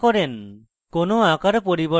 কোনো আকার পরিবর্তনও নয়